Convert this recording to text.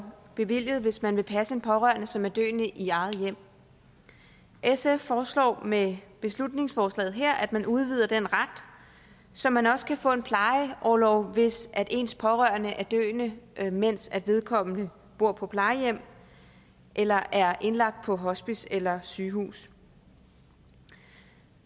bevilget hvis man vil passe en pårørende som er døende i eget hjem sf foreslår med beslutningsforslaget her at man udvider den ret så man også kan få en plejeorlov hvis ens pårørende er døende mens vedkommende bor på plejehjem eller er indlagt på hospice eller sygehus